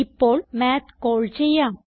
ഇപ്പോൾ മാത്ത് കാൾ ചെയ്യാം